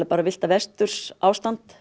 villta vesturs ástand